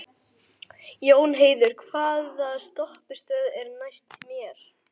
Jónheiður, hvaða stoppistöð er næst mér?